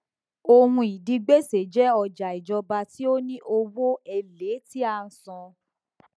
ohun ìdígbèsè jẹ ọjà ìjọba tí ó ní owó èlé tí a ń san